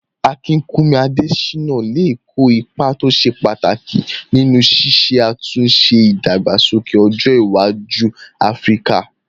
Akinkúnmi Adésínà lè kó ipa tó ṣe pàtàkì nínú ṣíṣe àtúnṣe ìdàgbàsókè ọjọ́ iwájú áfíríkà